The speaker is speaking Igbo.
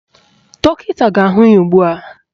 Dọkịta ga-ahụ ya ugbua